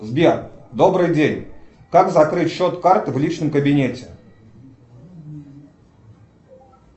сбер добрый день как закрыть счет карты в личном кабинете